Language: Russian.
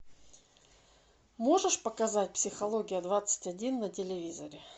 можешь показать психология двадцать один на телевизоре